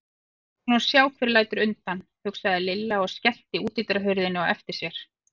Við skulum nú sjá hver lætur undan, hugsaði Lilla og skellti útidyrahurðinni á eftir sér.